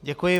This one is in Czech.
Děkuji.